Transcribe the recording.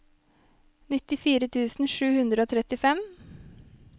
nittifire tusen sju hundre og trettifem